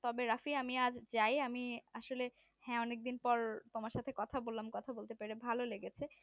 তবে রাফি আজ আমি যাই আমি আসলে হ্যাঁ অনেক দিন পর তোমার সাথে কথা বললাম কথা বলতে পেরে খুব ভালো লেগেছে